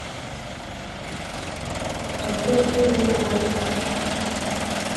отель элеон